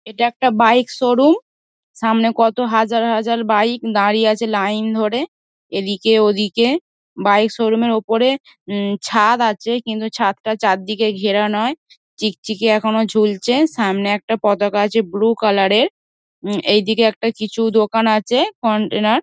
এটা একটা bike showroom. সামনে কত হাজার হাজার বাইক দাঁড়িয়ে আছে লাইন ধরে এদিকে ওদিকে ।বাইক শোরুম -এর ওপরে উম ছাদ আছে কিন্তু ছাদটা চারদিকে ঘেরা নয়। চিকচিকি এখনো জুলছে। সামনে একটা পতাকা আছে ব্লু কালার -এর। এইদিকে একটা কিছু দোকান আছে কন্টেনার ।